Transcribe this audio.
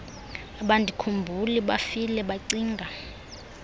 abandikhumbuli bafile bacinga